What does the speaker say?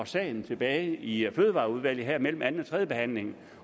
sagen tilbage i fødevareudvalget mellem anden og tredjebehandlingen